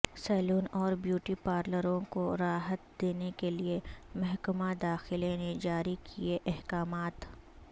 سیلون اور بیوٹی پارلروںکو راحت دینے کےلئے محکمہ داخلہ نے جاری کئے احکامات